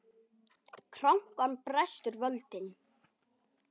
Krankan brestur völdin.